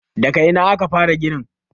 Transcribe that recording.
daga Ina aka fara ginin?